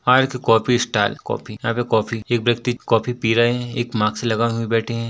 आर्थ coffee stall coffee यहाँ पे कॉफी एक व्यक्ति कॉफ़ी पी रहे है एक मास्क लगा के बैठे हैं।